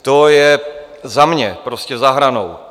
To je za mě prostě za hranou.